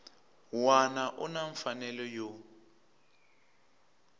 wana u na mfanelo yo